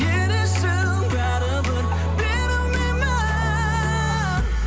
не дейсің бәрібір берілмеймін